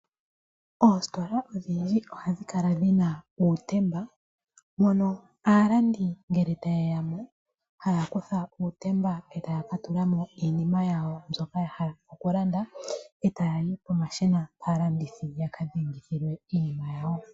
Oositola odhindji ohadhi kala dhina uutemba moka aalandi ngele ta yeya mo haya kutha uutemba eta ya katula mo iinima yawo mbyoka ya hala okulanda, eta yayi pomashina aalandithi yaka dhengithile iinima yawo.